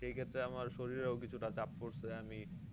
সেই ক্ষেত্রে আমার শরীরেও কিছুটা চাপ পড়ছে আমি